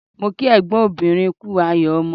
Mo kí ẹ̀gbọ́n obìnrin kú ayọ̀ ọmọ